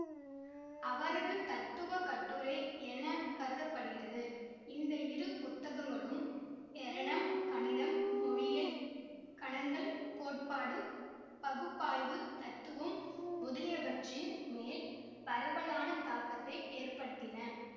அவரது தத்துவ கட்டுரை என கருத படுகிறது இந்த இரு புத்தகங்களும் ஏரணம் கணிதம் மொழியியல் கணங்கள் கோட்பாடு பகுப்பாய்வுத் தத்துவம் முதலியவற்றின் மேல் பரவலான தாக்கத்தை ஏற்படுத்தின